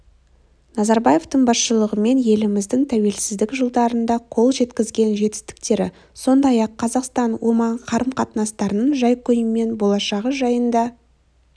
назарбаевтың басшылығымен еліміздің тәуелсіздік жылдарында қол жеткізген жетістіктері сондай-ақ қазақстан-оман қарым-қатынастарының жай-күйі мен болашағы жайында